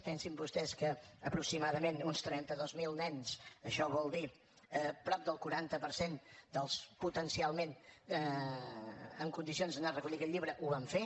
pensin vostès que aproximadament uns trenta dos mil nens això vol dir prop del quaranta per cent dels potencialment en condicions d’anar a recollir aquest llibre ho van fer